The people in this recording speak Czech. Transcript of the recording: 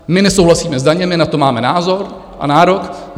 My nesouhlasíme s daněmi, na to máme názor a nárok.